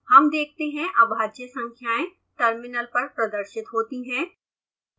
हम देखते हैं अभाज्य संखाएं टर्मिनल पर प्रदर्शित होती हैं